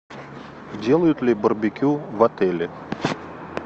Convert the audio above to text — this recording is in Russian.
делают ли барбекю в отеле